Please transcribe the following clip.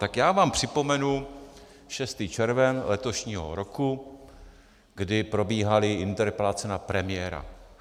Tak já vám připomenu 6. červen letošního roku, kdy probíhaly interpelace na premiéra.